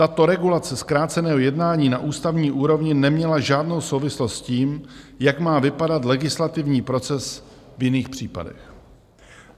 Tato regulace zkráceného jednání na ústavní úrovni neměla žádnou souvislost s tím, jak má vypadat legislativní proces v jiných případech.